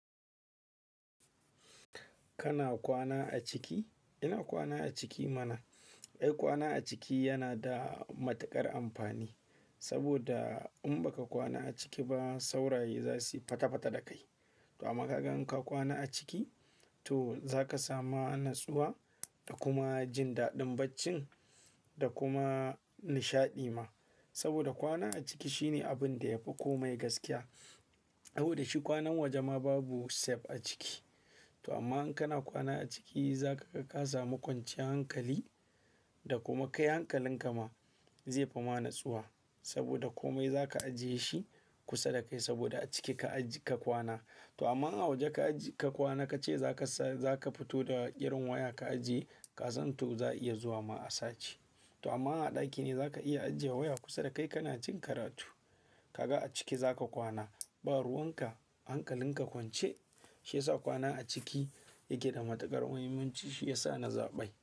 Kana kwana a ciki? Ina kwana a ciki mana. Eh, kwana a ciki yana da matuƙar amfani saboda in baka kwana a ciki ba sauraye za suyi fatafata da kai. To amma kagan ka kwana a ciki to zaka samu natsuwa da kuma jin daɗin bacci da kuma nishaɗi ma. Saboda kwana a ciki shine abin da ya fi komai gaskiya. Amma da shi kwanan waje ma babu safe a ciki. To amma in kana kwana a ciki zakaga ka samu kwanciyar hankali da kuma kai hankalin ka ma zai fi ma natsuwa saboda komai zaka ajiye shi kusa da kai saboda a ciki ka kwana. To amma a waje ka kwana kace zaka fito da irin waya ka ajiye kasan to za iya zuwa ma a sace. To amma a ɗaki ne zaka iya ajiye waya kusa da kai kana jin karatu. Kaga a ciki zaka kwana, ba ruwan ka, hankalin ka kwance shi yasa kwana a ciki yake da matuƙar muhimmanci shi yasa na zaɓe.